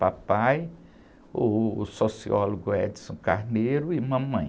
Papai, uh, o sociólogo Edison Carneiro e mamãe.